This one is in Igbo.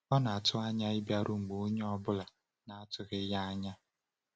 Ọ na-atụ anya ịbịaru mgbe onye ọ bụla na-atụghị ya anya.